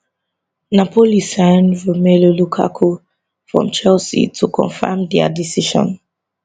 napoli sign romelu lukaku from chelsea to confam dia decision